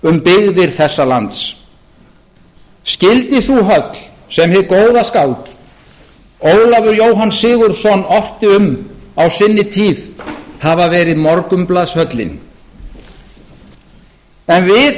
um byggðir þessa lands skyldi sú höll sem hið góða skáld ólafur jóhann sigurðsson orti um á sinni tíð hafa verið morgunblaðshöllin en við